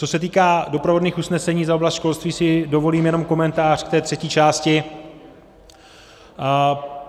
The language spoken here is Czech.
Co se týká doprovodných usnesení, za oblast školství si dovolím jenom komentář k té třetí části.